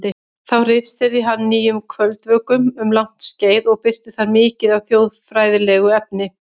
Þá ritstýrði hann Nýjum kvöldvökum um langt skeið og birti þar mikið af þjóðfræðilegu efni.